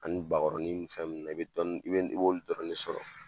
Ani bakɔrɔnin fɛn nunnu na i be dɔɔnin i b'olu dɔrɔn de sɔrɔ